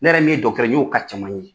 Ne yɛrɛ min ye dɔgɔtɔrɔ ye n y'o ka caman ye